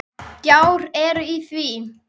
Gjár eru í því.